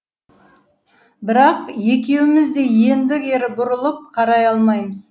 бірақ екеуіміз де енді кері бұрылып қарай алмаймыз